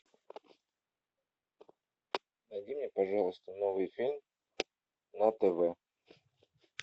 найди мне пожалуйста новый фильм на тв